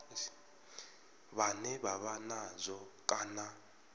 vhane vha vha nazwo kana